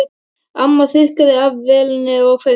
Amma þurrkaði af vélinni og kveikti.